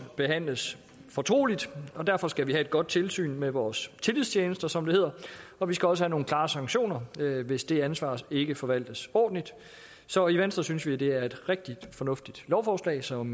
behandles fortroligt derfor skal vi have et godt tilsyn med vores tillidstjenester som det hedder og vi skal også have nogle klare sanktioner hvis det ansvar ikke forvaltes ordentligt så i venstre synes vi at det er et rigtig fornuftigt lovforslag som